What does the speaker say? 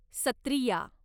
Sattriya